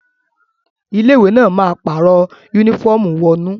Ilé ìwé náà ma pàrọ̀ yúnífọ̀mù wọnú